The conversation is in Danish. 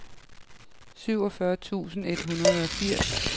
syvogfyrre tusind et hundrede og firs